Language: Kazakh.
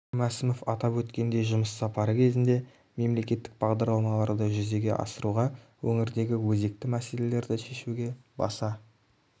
кәрім мәсімов атап өткендей жұмыс сапары кезінде мемлекеттік бағдарламаларды жүзеге асыруға өңірдегі өзекті мәселелерді шешуге баса